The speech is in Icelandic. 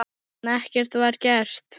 En ekkert var gert.